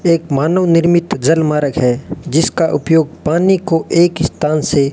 एक मानव निर्मित जल मार्ग है जिसका उपयोग पानी को एक स्थान से --